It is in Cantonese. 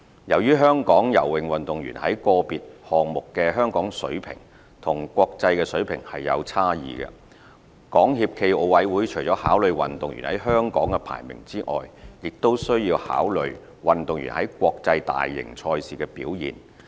由於香港游泳運動員在個別項目的水平與國際水平有差異，港協暨奧委會除了考慮運動員在香港的排名外，亦須考慮運動員在國際大型賽事的表現。